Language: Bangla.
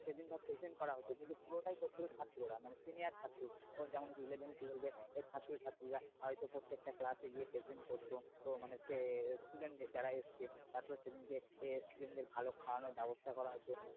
যেদিনকে present করা হতো সেটা পুরোটাই করত হলো ছাত্ররা মানে senior ও যেমন eleven twelve এর ছাত্র-ছাত্রীরা হয়তো প্রত্যেকটা ক্লাসে গিয়ে present করত মানে হচ্ছে student যারা এসেছে তারপর সেদিনকে দের ভালো খাওয়ানোর ব্যবস্থা করা হতো